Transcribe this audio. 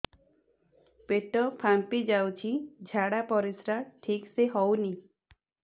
ପେଟ ଫାମ୍ପି ଯାଉଛି ଝାଡ଼ା ପରିସ୍ରା ଠିକ ସେ ହଉନି